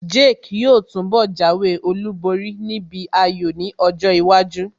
Jake yóò túnbọ̀ jáwé olúborí níbi ayò ní ọjọ́ iwájú